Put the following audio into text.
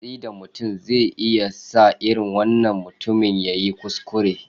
Yin watsi da mutum zai iya sa irin wannan mutumin ya yi kuskure.